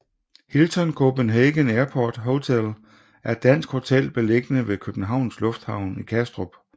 Hilton Copenhagen Airport Hotel er et dansk hotel beliggende ved Københavns Lufthavn i Kastrup